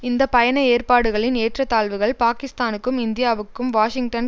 இந்த பயண ஏற்பாடுகளின் ஏற்றத்தாழ்வுகள் பாகிஸ்தானுக்கும் இந்தியாவுக்கும் வாஷிங்டன்